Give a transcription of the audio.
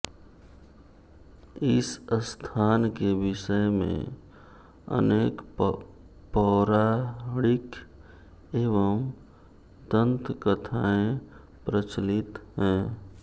इस स्थान के विषय में अनेक पौराणिक एवं दन्त कथाएँ प्रचलित हैं